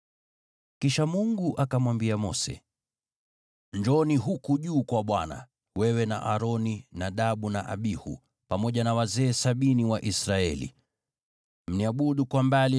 Kisha Mungu akamwambia Mose, “Njooni huku juu kwa Bwana , wewe na Aroni, Nadabu na Abihu, pamoja na wazee sabini wa Israeli. Mniabudu kwa mbali,